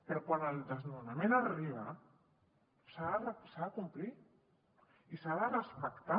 però quan el desnonament arriba s’ha de complir i s’ha de respectar